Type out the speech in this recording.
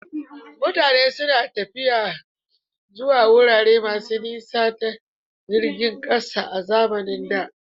Mutane suna tafiya zuwa wurare masu nisa ta jiragen ƙasa a zamanin da.